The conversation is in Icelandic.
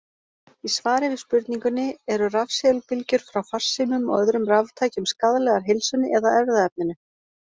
Í svari við spurningunni: Eru rafsegulbylgjur frá farsímum og öðrum raftækjum skaðlegar heilsunni eða erfðaefninu?